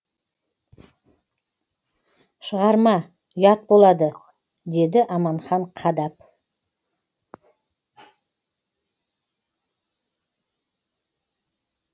шығарма ұят болады деді аманхан қадап